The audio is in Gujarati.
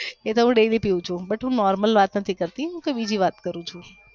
એ તો હું daily પિવ છું but હું normal વાત નથી કરતી હું બીજી વાત કરું છું